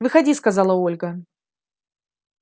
выходи сказала ольга